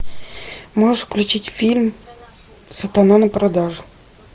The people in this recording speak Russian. можешь включить фильм сатана на продажу